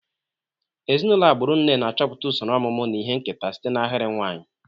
Ezinụlọ agbụrụ nne na-achọpụta usoro ọmụmụ na ihe nketa site na ahịrị nwanyị.